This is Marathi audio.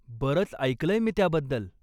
बरंच ऐकलंय मी त्याबद्दल.